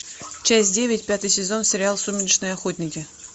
часть девять пятый сезон сериал сумеречные охотники